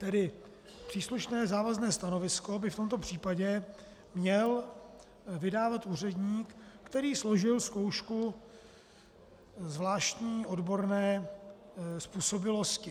Tedy příslušné závazné stanovisko by v tomto případě měl vydávat úředník, který složil zkoušku zvláštní odborné způsobilosti.